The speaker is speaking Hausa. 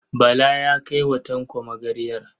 Bala ya kai wa Tanko magarya.